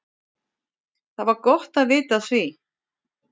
Það var gott að vita af því.